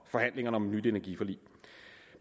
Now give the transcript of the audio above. forhandlingerne om et nyt energiforlig